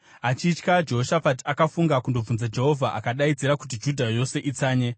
Achitya, Jehoshafati akafunga kundobvunza Jehovha, akadaidzira kuti Judha yose itsanye.